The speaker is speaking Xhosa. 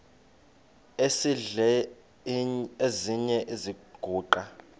esidl eziny iziguqa